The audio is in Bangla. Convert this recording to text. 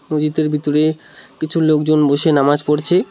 মজিদের ভিতরে কিছু লোকজন বসে নামাজ পড়ছে।